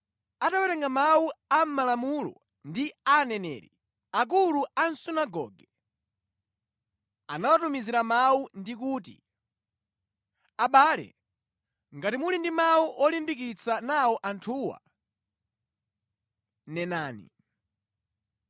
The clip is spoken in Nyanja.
Atawerenga mawu a mʼMalamulo ndi Aneneri, akulu a sunagoge anawatumizira mawu ndi kuti, “Abale ngati muli ndi mawu olimbikitsa nawo anthuwa, nenani.”